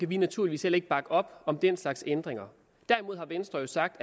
vi naturligvis heller ikke bakke op om den slags ændringer derimod har venstre jo sagt